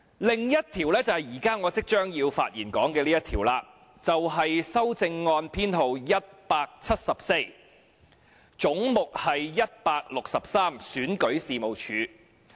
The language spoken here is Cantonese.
另一項是我即將要發言談及的修正案編號 174，" 總目 163― 選舉事務處"。